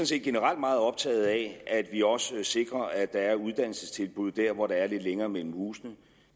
set generelt meget optaget af at vi også sikrer at der er uddannelsestilbud der hvor der er lidt længere mellem husene